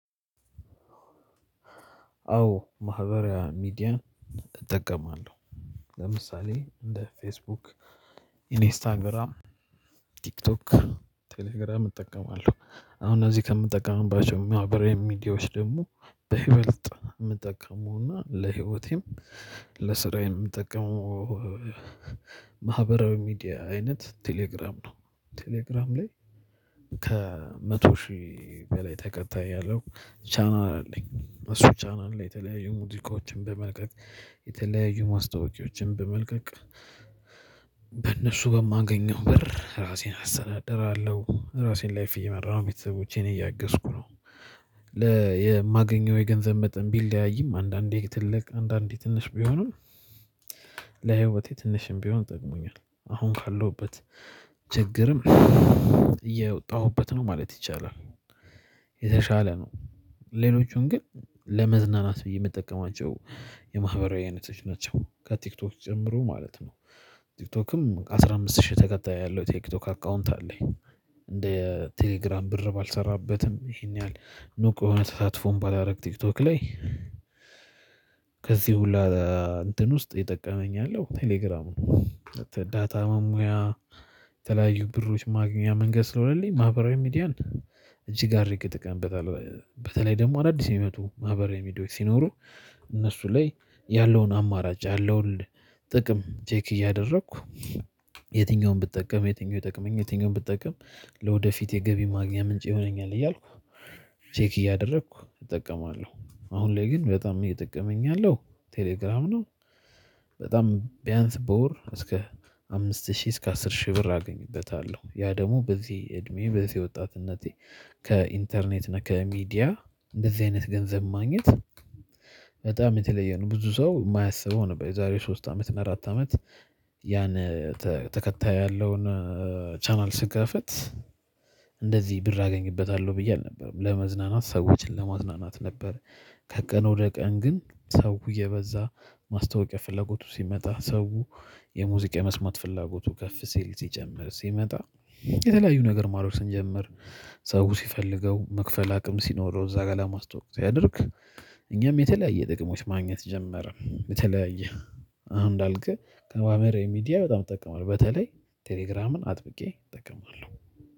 አዎ ማህበራዊ ሚዲያ እጠቀማለሁ። ለምሳሌ እንደ ፌስቡክ ኢንስታግራም ቲክቶክ ቴሌግራም እጠቀማለሁ አሁን እዚህ ከምጠቀምባቸው ማህበራዊ ሚዲዎች ደግሞ በይበልጥ የምጠቀመውና ለህይወቴም ለስራዬም የምጠቀመው። ማህበራዊ ሚዲያ አይነት ቴሌግራም ነው። ቴሌግራም ላይ ከመቶ ሺህ በላይ ተከታይ ያለው ቻናል አለኝ እሱ ቻናል ላይ የተለያዩ ሙዚቃዎችን በመልቀቅ የተለያዩ ማስታወቂያዎችን በመልቀቅ በእነሱ በማገኘው ብር ራሴን አሰናደራለሁ ራሴን ላይፍ እየመራ ነው ቤተሰቦቼን እያገዝኩ ነው። ለማገኘው የገንዘብ መጠን ቢለያይም አንዳንዴ ትልቅ አንዳንዴ ትንሽ ቢሆንም ለህይወቴ ትንሽም ቢሆን ጠቅሞኛል። አሁን ካለሁበት ችግርም እየወጣሁበት ነው ማለት ይቻላል። የተሻለ ነው። ሌሎቹን ግን ለመዝናናት ብዬ የምጠቀማቸው የማህበራዊ አይነቶች ናቸው ከቲክቶክ ጭምሮ ማለት ነው። ቲክቶክም አስራ አምስት ሺህ ተከታይ ያለው ቲክቶክ አካውንት አለኝ። እንደ ቴሌግራም ብር ባልሰራበትም ይሄን ያህል ንቁ የሆነ ተሳትፎን ባላደርግ ቲክቶክ ላይ። ከዚህ ሁሉ እንትን ውስጥ ይጠቀመኛል ቴሌግራም ነው። ዳታ መሙያ የተለያዩ ብሮች ማግኛ መንገድ ስለሆነልኝ ማህበራዊ ሚዲያን እጅግ አድርግ እጠቅምበታለው በተለይ ደግሞ አዳዲስ የሚመጡ ማህበር የሚሄድ ሲኖሩ። እነሱ ላይ ያለውን አማራጭ ያለውን ጥቅም ቼክ እያደረኩ የትኛውንም ብጠቀም የትኛውንም ይጠቅመኛል የትኛውንም ብጠቀም። ለወደፊት የገቢ ማግኘት ምንጭ ይሆነኛል እያልኩ ቼክ እያደረኩ እጠቀማለሁ። አሁን ላይ ግን በጣም እየጠቀመኝ ያለው ቴሌግራም ነው። በጣም ቢያንስ በወር እስከ አምስት ሺህ እስከ አስር ሺህ ብር አገኝበታለሁ። ያ ደግሞ በዚህ እድሜ በዚህ ወጣትነቴ ከኢንተርኔት እና ከሚዲያ እንደዚህ አይነት ገንዘብ ማግኘት በጣም የተለየ ነው። ብዙ ሰው የማያስበው ነበር የዛሬው ሶስት አመት እና አራት አመት ያን ተከታይ ያለውን ቻናል ስከፍት። እንደዚህ ብር አገኝበታለሁ ብዬ አልነበረም ለመዝናናት ሰዎችን ለማዝናናት ነበር። ከቀን ወደ ቀን ግን ሰው የበዛ ማስታወቂያ ፍላጎቱ ሲመጣ ሰው የሙዚቃ የመስማት ፍላጎቱ ከፍ ሲል ሲጨምር ሲመጣ የተለያዩ ነገር ማድረግ ስንጀምር። ሰው ሲፈልገው መክፈል አቅም ሲኖረው እዛ ጋር ለማስተዋወቅ ሲያደርግ። እኛም የተለያየ ጥቅሞች ማግኘት ጀመረ የተለያየ። አንዳልኩህ ከማህበራዊ ሚዲያ በጣም እጠቀማል በተለይ ቴሌግራምን አጥብቄ እጠቀማለሁ